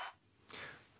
það